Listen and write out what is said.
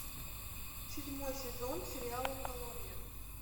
седьмой сезон сериала колония